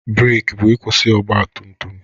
breeki bụ ịkwụsị ọgbatumtum.